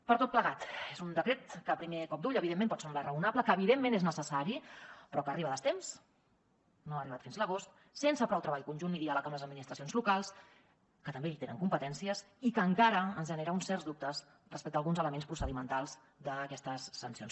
per tot plegat és un decret que a primer cop d’ull evidentment pot semblar raonable que evidentment és necessari però que arriba a destemps no ha arribat fins l’agost sense prou treball conjunt ni diàleg amb les administracions locals que també hi tenen competències i que encara ens genera uns certs dubtes respecte a alguns elements procedimentals d’aquestes sancions